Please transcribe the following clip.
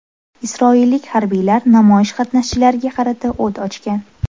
Isroillik harbiylar namoyish qatnashchilariga qarata o‘t ochgan.